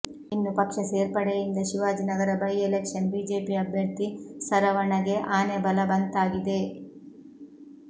ಇನ್ನು ಪಕ್ಷ ಸೇರ್ಪಡೆಯಿಂದ ಶಿವಾಜಿನಗರ ಬೈ ಎಲೆಕ್ಷನ್ ಬಿಜೆಪಿ ಅಭ್ಯರ್ಥಿ ಸರವಣಗೆ ಆನೆ ಬಲಬಂತಾಗಿದೆ